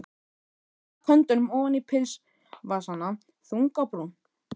Hún stakk höndunum ofan í pilsvasana, þung á brún.